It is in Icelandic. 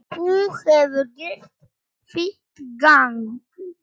Þú hefur gert þitt gagn.